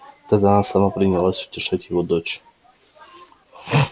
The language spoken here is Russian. тогда она сама принялась утешать его дочь